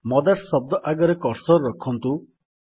mothers ଶବ୍ଦ ଆଗରେ cursor ରଖନ୍ତୁ